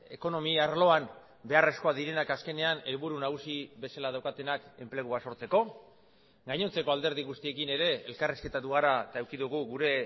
ekonomia arloan beharrezkoak direnak azkenean helburu nagusi bezala daukatenak enplegua sortzeko gainontzeko alderdi guztiekin ere elkarrizketatu gara eta eduki dugu gure